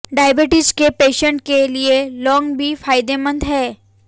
diabetes के patient के लिए लौंग भी फायदेमंद है